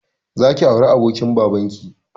Zaki auri abokin babanki